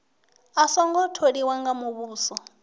a songo tholiwa nga muvhuso